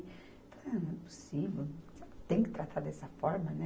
não é possível, tem que tratar dessa forma, né?